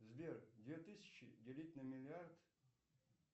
сбер две тысячи делить на миллиард